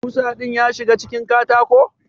Kusa din ya shiga cikin katako?